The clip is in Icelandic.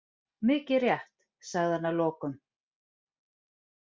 Mikið rétt, sagði hann að lokum.